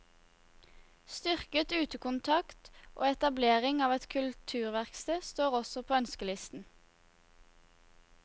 Styrket utekontakt og etablering av et kulturverksted står også på ønskelisten.